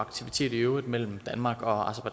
og aktivitet i øvrigt mellem danmark og